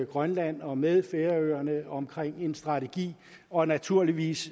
grønland og med færøerne omkring en strategi og naturligvis